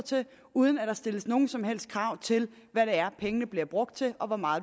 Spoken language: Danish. uden at der stilles nogen som helst krav til hvad det er pengene bliver brugt til og hvor meget